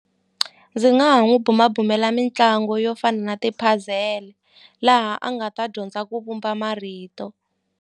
Ndzi nga ha n'wi bumabumela mitlangu yo fana na ti puzzle laha a nga ta dyondza ku vumba marito.